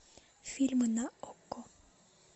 фильмы на окко